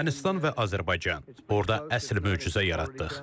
Ermənistan və Azərbaycan, orda əsl möcüzə yaratdıq.